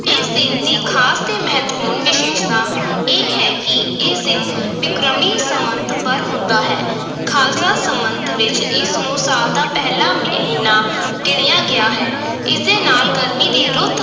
ਇਸ ਦਿਨ ਦੀ ਖ਼ਾਸ ਤੇ ਮਹੱਤਵਪੂਰਨ ਵਿਸ਼ੇਸ਼ਤਾ ਇਹ ਹੈ ਕਿ ਇਸ ਦਿਨ ਬਿਕਰਮੀ ਸੰਮਤ ਬਰ ਹੁੰਦਾ ਹੈ ਖ਼ਾਲਸਾ ਸੰਮਤ ਵਿਚ ਇਸ ਨੂੰ ਸਾਲ ਦਾ ਪਹਿਲਾ ਮਹੀਨਾ ਗਿਣਿਆ ਗਿਆ ਹੈ, ਇਸ ਦੇ ਨਾਲ ਗਰਮੀ ਦੀ ਰੁੱਤ